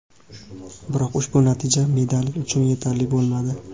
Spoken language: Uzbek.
Biroq ushbu natija medal uchun yetarli bo‘lmadi.